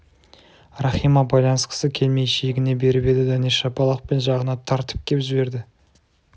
рахима байланысқысы келмей шегіне беріп еді дәнеш шапалақпен жағына тартып кеп жіберді